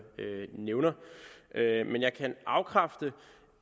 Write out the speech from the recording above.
nævner men jeg kan afkræfte